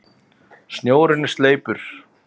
Snjórinn er sleipur!